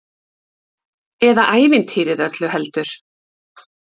Eða ævintýrið öllu heldur!